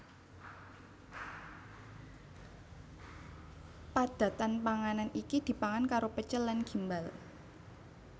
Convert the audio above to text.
Padatan panganan iki dipangan karo pecel lan gimbal